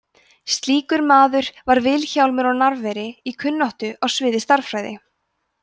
slíkur maður var vilhjálmur á narfeyri í kunnáttu á sviði stærðfræði